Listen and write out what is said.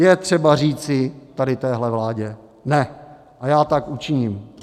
Je třeba říci tady téhle vládě ne, a já tak učiním.